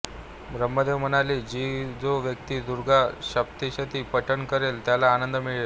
ब्रह्देव म्हणाले की जो व्यक्ती दुर्गा सप्तशतीचे पठण करेल त्याला आनंद मिळेल